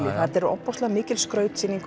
þetta er ofboðslega mikil skrautsýning